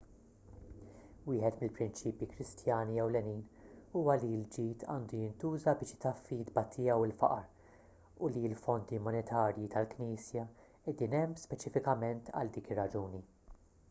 wieħed mill-prinċipji kristjani ewlenin huwa li l-ġid għandu jintuża biex itaffi t-tbatija u l-faqar u li l-fondi monetarji tal-knisja qegħdin hemm speċifikament għal dik ir-raġuni